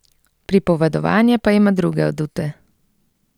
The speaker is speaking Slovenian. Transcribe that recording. Pripovedovanje pa ima druge adute.